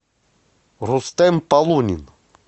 рустем полунин